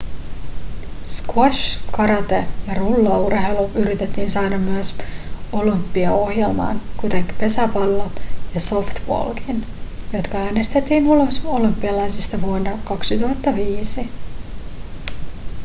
squash karate ja rullaurheilu yritettiin saada myös olympiaohjelmaan kuten pesäpallo ja softballkin jotka äänestettiin ulos olympialaisista vuonna 2005